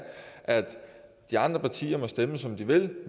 at de andre partier kunne stemme som de ville